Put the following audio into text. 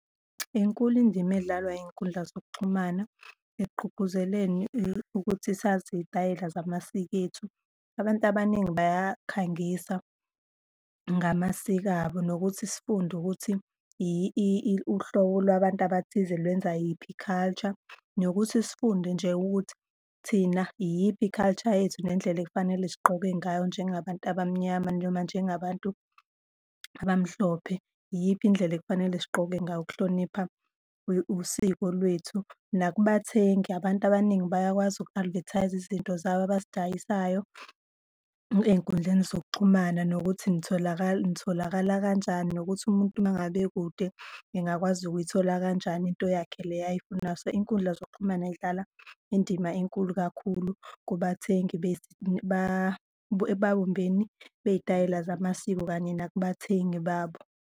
Inkulu indima edlalwa iy'nkundla zokuxhumana ekugqugquzeleni ukuthi sazi iy'tayela zamasiko ethu. Abantu abaningi bayakhangisa ngamasiko abo nokuthi sifunde ukuthi uhlobo lwabantu abathize lwenza yiphi i-culture, nokuthi sifunde nje ukuthi thina iyiphi i-culture yethu nendlela ekufanele sigqoke ngayo njengabantu abamnyama noma njengabantu abamhlophe. Iyiphi indlela ekufanele sigqoke ngayo ukuhlonipha usiko lwethu? Nakubathengi, abantu abaningi bayakwazi uku-advertise-a izinto zabo abazidayisayo ey'nkundleni zokuxhumana nokuthi nitholakala kanjani nokuthi umuntu uma ngabe ekude engakwazi ukuyithola kanjani into yakhe le ayifunayo. So, iy'nkundla zokuxhumana yidlala indima enkulu kakhulu kubathengi ebawombeni bey'tayela zamasiko kanye nakubathengi babo.